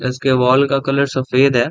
इसके वाॅल का कलर सफेद है।